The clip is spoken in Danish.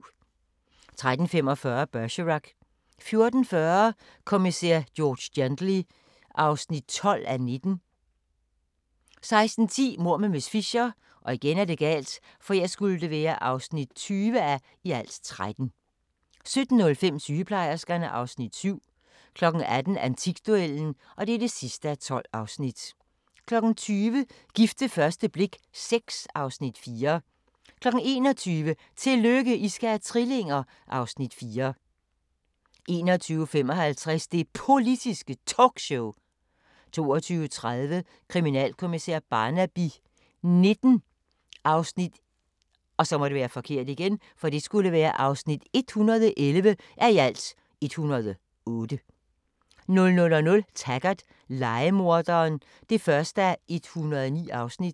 13:45: Bergerac 14:40: Kommissær George Gently (12:19) 16:10: Mord med miss Fisher (20:13) 17:05: Sygeplejerskerne II (Afs. 7) 18:00: Antikduellen (12:12) 20:00: Gift ved første blik VI (Afs. 4) 21:00: Tillykke, I skal have trillinger! (Afs. 4) 21:55: Det Politiske Talkshow 22:30: Kriminalkommissær Barnaby XIX (111:108) 00:00: Taggart: Lejemorderen (1:109)